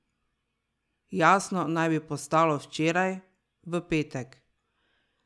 Jasno naj bi postalo včeraj, v petek.